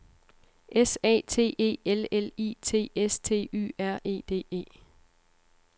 S A T E L L I T S T Y R E D E